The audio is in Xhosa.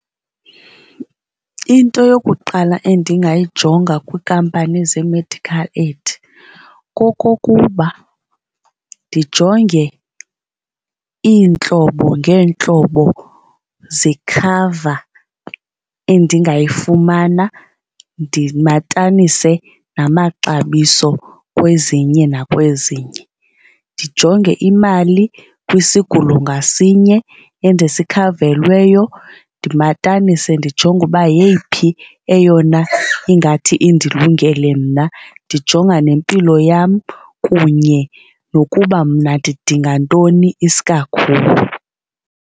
Into yokuqala endingayijonga kwiinkampani zee-medical aid kokokuba ndijonge iintlobo ngeentlobo zekhava endingayifumana ndimatanise namaxabiso kwezinye nakwezinye. Ndijonge imali kwisigulo ngasinye endisikhavelweyo ndimatanise ndijonge uba yeyiphi eyona ingathi indilungele mna ndijonga nempilo yam kunye nokuba mna ndidinga ntoni iskakhulu.